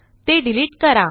ते डिलिट करा